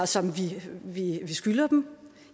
som vi skylder dem